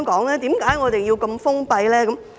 為何我們要如此封閉呢？